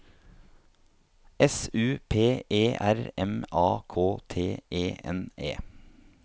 S U P E R M A K T E N E